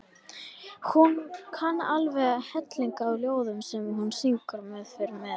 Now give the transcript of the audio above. Hún kann alveg helling af ljóðum sem hún syngur eða fer með.